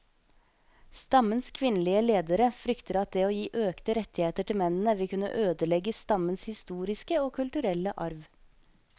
Stammens kvinnelige ledere frykter at det å gi økte rettigheter til mennene vil kunne ødelegge stammens historiske og kulturelle arv.